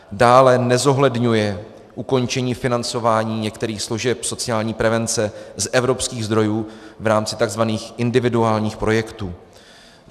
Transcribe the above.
Dále nezohledňuje ukončení financování některých služeb sociální prevence z evropských zdrojů v rámci tzv. individuálních projektů.